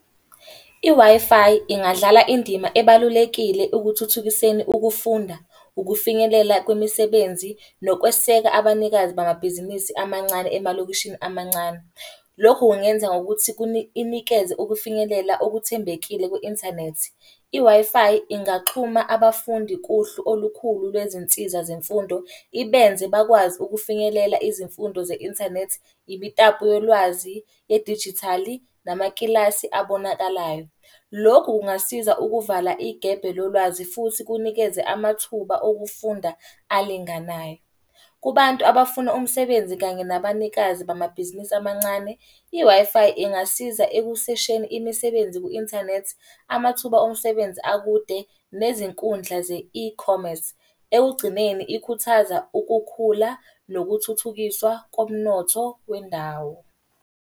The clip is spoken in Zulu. I-Wi-Fi ingadlala indima ebalulekile ukuthuthukiseni ukufunda, ukufinyelela kwimisebenzi, nokweseka abanikazi bamabhizinisi amancane emalokishini amancane. Lokhu kungenza ngokuthi ininikeza ukufinyelela okuthembekile kwi-inthanethi. I-Wi-Fi ingaxhuma abafundi kuhlu olukhulu lwezinsiza zemfundo, ibenze bakwazi ukufinyelela izimfundo ze-inthanethi, imitapo yolwazi yedijithali, namakilasi abonakalayo. Lokhu kungasiza ukuvala igebhe lolwazi futhi kunikeze amathuba okufunda alinganayo. Kubantu abafuna umsebenzi kanye nabanikazi bamabhizinisi amancane, i-Wi-Fi ingasiza ekusesheni imisebenzi ku-inthanethi, amathuba omsebenzi akude, nezinkundla ze-ecommerce. Ekugcineni ikhuthaza ukukhula nokuthuthukiswa komnotho wendawo.